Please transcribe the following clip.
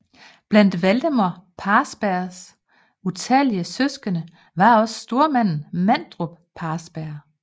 Blandt Valdemar Parsbergs talrige søskende var også stormanden Manderup Parsberg